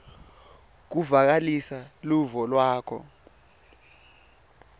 kuvakalisa luvo lwakho